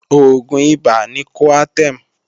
Oògùn ibà ni Coartem